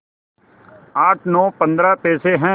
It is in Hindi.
आठ नौ पंद्रह पैसे हैं